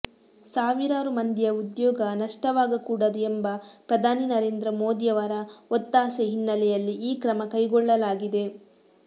ಸಾವಿರಾರು ಮಂದಿಯ ಉದ್ಯೋಗ ನಷ್ಟವಾಗಕೂಡದು ಎಂಬ ಪ್ರಧಾನಿ ನರೇಂದ್ರ ಮೋದಿಯವರ ಒತ್ತಾಸೆ ಹಿನ್ನೆಲೆಯಲ್ಲಿ ಈ ಕ್ರಮ ಕೈಗೊಳ್ಳಲಾಗಿದೆ